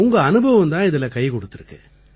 உங்க அனுபவம் தான் இதில கை கொடுத்திருக்கு